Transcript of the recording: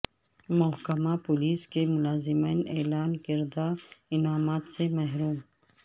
محکمہ پولیس کے ملازمین اعلان کردہ انعامات سے محروم